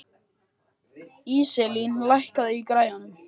Íselín, lækkaðu í græjunum.